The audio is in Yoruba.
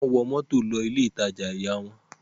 Wọ́n wọ mọ́tò lọ ilé-ìtajà ìyá wọn.